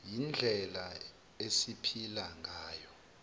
yindlela esiphila ngayo